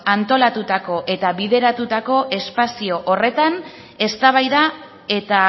antolatutako eta bideratutako espazio horretan eztabaida eta